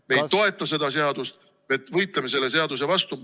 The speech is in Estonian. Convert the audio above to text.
Me ei toeta seda seadust, me võitleme selle seaduse vastu.